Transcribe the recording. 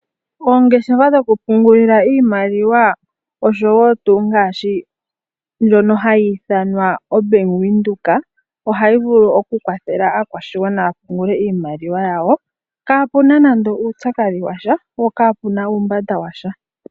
Oongeshefa dho ku pungula iimaliwa osho woo tuu ngaashi ndjona hayi i thanwa bank Windhoek, ohayi vulu oku kwathela aakwashigwana ya pungule iimaliwa yawo, kaa puna nande uupyakadhi washa po ka puna uumbanda washa.